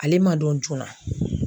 Ale ma dɔn joona.